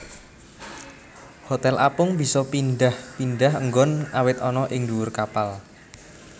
Hotel apung bisa pindhah pindhah enggon awit ana ing ndhuwur kapal